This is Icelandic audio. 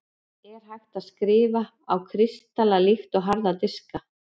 er hægt að „skrifa“ á kristalla líkt og harða diska